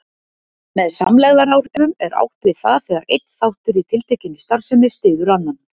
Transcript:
Með samlegðaráhrifum er átt við það þegar einn þáttur í tiltekinni starfsemi styður annan.